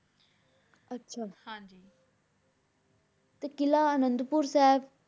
ਆਚ ਹਾਂਜੀ ਤੇ ਕਿਲਾ ਅਨਾਦ ਪੁਰ ਸਾਹਿਬ